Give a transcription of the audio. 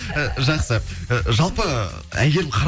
і жақсы і жалпы әйгерім